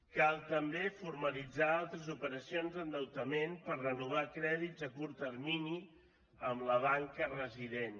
cal també formalitzar altres operacions d’endeutament per renovar crèdits a curt termini amb la banca resident